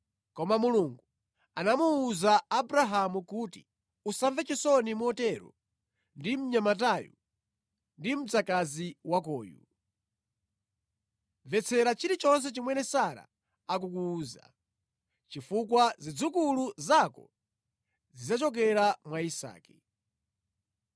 Koma Mulungu anamuwuza Abrahamu kuti, “Usamve chisoni motero ndi mnyamatayu ndi mdzakazi wakoyu. Mvetsera chilichonse chomwe Sara akukuwuza, chifukwa zidzukulu zako zidzachokera mwa Isake.